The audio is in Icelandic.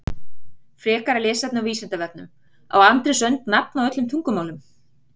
Frekara lesefni á Vísindavefnum Á Andrés önd nafn á öllum tungumálum?